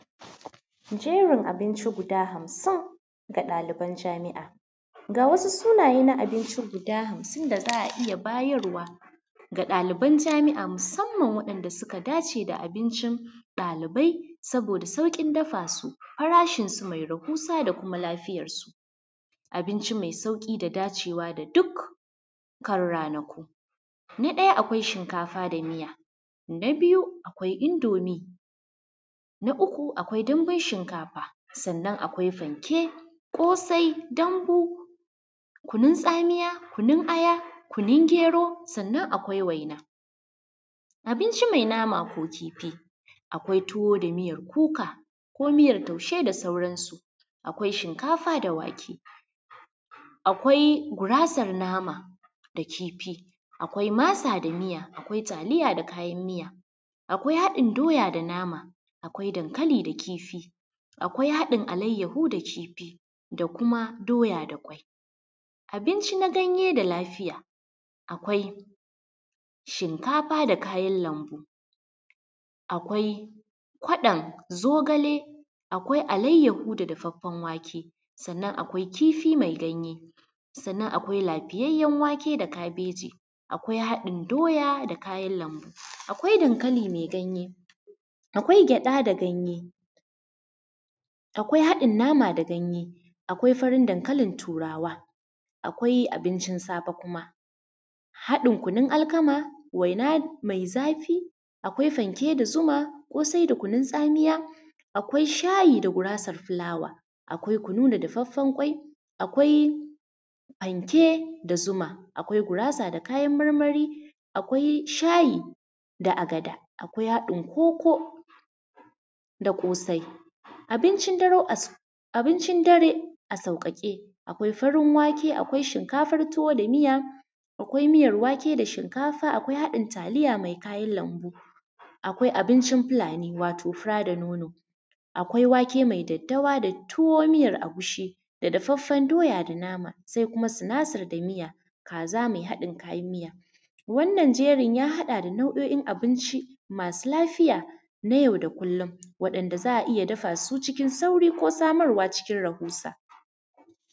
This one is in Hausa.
Jerin abinci guda hamsin ga ɗaliban jami'a. Ga wasu sunaye na abinci guda hamsin da za a iya bayarwa ga ɗaliban jami'a musamman waɗanda suka dace da abincin ɗalibai saboda sauƙin dafa su, farashinsu mai rahusa da kuma lafiyarsu. Abinci mai sauƙi da dacewa da dukkan ranaku, na ɗaya akwai shinkafa da miya, na biyu akwai indomi na uku akwai dambun shinkafa, sannan akwai fanke, ƙosai dambu, kunun tsamiya, kunun aya, kunun gero, sannan akwai waina, abinci mai nama ko kifi, akwai tuwo da miyar kuka ko miyar taushe da sauran su. Akwai shinkafa da wake, akwai gurasar nama da kifi, akwai masa da miya, akwai taliya da kayan miya, akwai haɗin doya da nama, akwai dankali da kifi akwai haɗin alayyahu da kifi da kuma doya da ƙwai. Abinci na ganye da lafiya akwai shinkafa da kayan lambu, akwai kwaɗan zogale, akwai alayyahu da dafaffan wake, sannan akwai kifi mai ganye, sannan akwai lafiyayyan wake da kabeji akwai haɗin doya da kayan lambu, akwai dankali me ganye, akwai gyaɗa da ganye, akwai haɗin nama da ganye, akwai farin dankalin Turawa. Akwai abincin safe kuma, haɗin kunun alkama, waina mai zafi, akwai fanke da zuma, ƙosai da kunun tsamiya, akwai shayi da gurasar fulawa, akwai kunu da dafaffan ƙwai, akwai fanke da zuma, akwai gurasa da kayan marmari, akwai shayi da agada, akwai haɗin koko da ƙosai. Abincin dare as; abincin dare a sauƙaƙe, akwai farin wake, akwai shinkafar tuwo da miya, akwai miyar wake da shinkafa, akwai haɗin taliya mai kayan lambu, akwai abincin Fulani, wato fura da nono, akwai wake mai daddawa da tuwo miyar agushi da dafaffan doya da nama, sai kuma sinasir da miya. kaza mai haɗin kayan miya, wannan jerin ya haɗa da nau'o'in abinci masu lafiya na yau da kullum waɗanda za a iya dafa su cikin sauri ko samarwa cikin rahusa.